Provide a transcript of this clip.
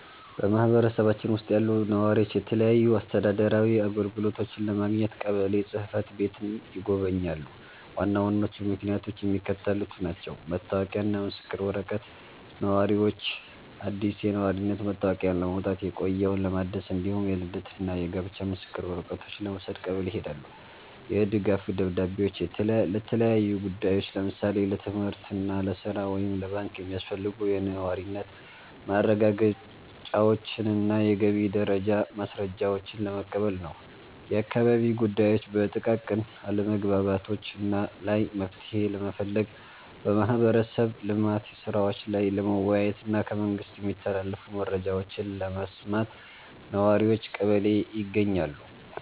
በማኅበረሰባችን ውስጥ ያሉ ነዋሪዎች የተለያዩ አስተዳደራዊ አገልግሎቶችን ለማግኘት ቀበሌ ጽሕፈት ቤትን ይጎበኛሉ። ዋና ዋናዎቹ ምክንያቶች የሚከተሉት ናቸው፦ መታወቂያና ምስክር ወረቀት፦ ነዋሪዎች አዲስ የነዋሪነት መታወቂያ ለማውጣት፣ የቆየውን ለማደስ፣ እንዲሁም የልደትና የጋብቻ ምስክር ወረቀቶችን ለመውሰድ ቀበሌ ይሄዳሉ። የድጋፍ ደብዳቤዎች፦ ለተለያዩ ጉዳዮች (ለምሳሌ ለትምህርት፣ ለሥራ ወይም ለባንክ) የሚያስፈልጉ የነዋሪነት ማረጋገጫዎችንና የገቢ ደረጃ ማስረጃዎችን ለመቀበል ነው። የአካባቢ ጉዳዮች፦ በጥቃቅን አለመግባባቶች ላይ መፍትሔ ለመፈለግ፣ በማኅበረሰብ ልማት ሥራዎች ላይ ለመወያየትና ከመንግሥት የሚተላለፉ መረጃዎችን ለመስማት ነዋሪዎች ቀበሌ ይገኛሉ።